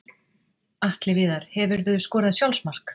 Atli Viðar Hefurðu skorað sjálfsmark?